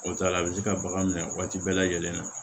O t'a la a bɛ se ka bagan minɛ waati bɛɛ lajɛlen na